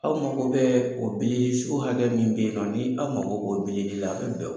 Aw mago bɛɛ o bilili so hakɛ min be yen nɔ ni aw mago b'o bilili la a bɛ bɛn w